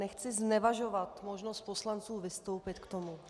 Nechci znevažovat možnost poslanců vystoupit k tomu.